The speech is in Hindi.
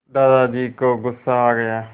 दादाजी को गुस्सा आ गया